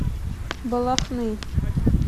балахны